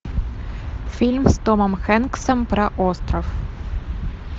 фильм с томом хэнксом про остров